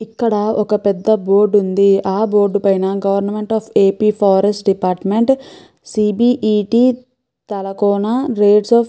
ఇక్కడ ఒక పెద్ద బోర్డు ఉంది ఆ బోర్డు పైన గవర్నమెంట్ ఆఫ్ ఏపీ ఫారెస్ట్ డిపార్ట్మెంట్ సిబిఈటి తలకోన రేట్స్ ఆఫ్ --